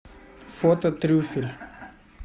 фото трюфель